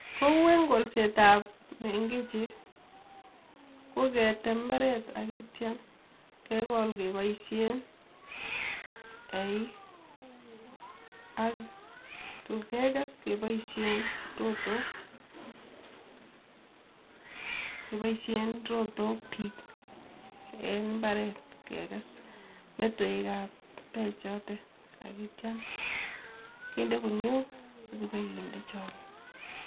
Kou en kolsetab mengichi koketem imbaret ak kietiem kekol kepoishen eeik akotun kekes kepoishe rotok biik eng imbaret kekes metewekab peek choto akition kende kuniok ak kipkende chooke.